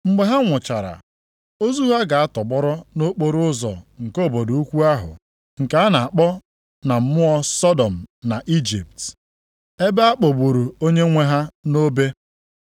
Mgbe ha nwụchara, ozu ha ga-atọgbọrọ nʼokporoụzọ nke obodo ukwu ahụ nke a na-akpọ na mmụọ Sọdọm na Ijipt, ebe a kpọgburu Onyenwe ha nʼobe.